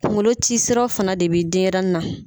Kuŋolo ti siraw fana de be denyɛrɛnin na.